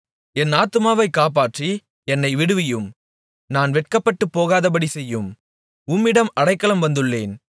என் ஆத்துமாவைக் காப்பாற்றி என்னை விடுவியும் நான் வெட்கப்பட்டுப்போகாதபடி செய்யும் உம்மிடம் அடைக்கலம் வந்துள்ளேன்